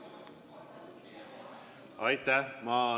Aitäh!